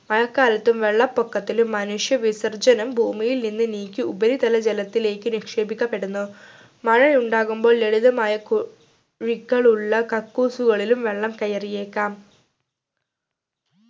മഴക്കാലത്തും വെള്ളപ്പൊക്കത്തിലും മനുഷ്യ വിസർജനം ഭൂമിയിൽ നിന്ന് നീക്കി ഉപരിതലജലത്തിലേക്ക് നിക്ഷേപിക്കപ്പെടുന്നു മഴ ഉണ്ടാകുമ്പോൾ ലളിതമായ കു ഴികളുള്ള കക്കൂസുകളിലും വെള്ളം കയറിയേക്കാം